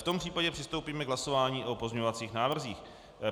V tom případě přistoupíme k hlasování o pozměňovacích návrzích.